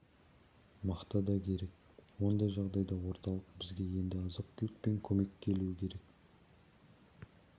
мақта да керек ондай жағдайда орталық бізге енді азық-түлікпен көмекке келуі керек